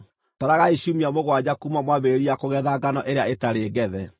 Taragai ciumia mũgwanja kuuma mwambĩrĩria kũgetha ngano ĩrĩa ĩtarĩ ngethe.